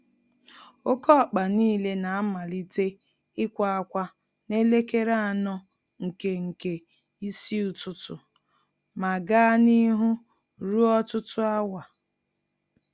Oké ọkpa nile na-amalite ikwa-akwa nelekere anọ nke nke ísì ụtụtụ, ma gaa n'ihu ruo ọtụtụ áwà